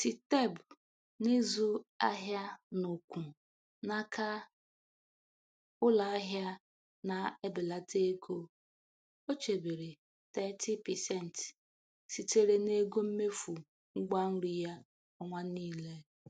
Siteb n'ịzụ ahịa n'ụkwu n'aka ụlọ ahịa na- ebelata ego, o chebere 30% sitere n'ego mmefu ngwa nri ya ọnwa niile.